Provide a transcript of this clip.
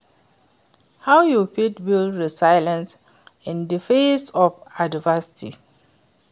how you fit build resilience in di face of adversity?